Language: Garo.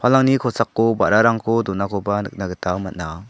alangni kosako ba·rarangko donakoba nikna gita man·a.